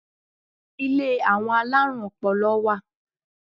Ilé àwọn alárùn ọpọlọ wà.